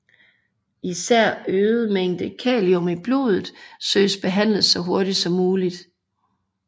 Især øget mængde kalium i blodet søges behandlet så hurtigt som muligt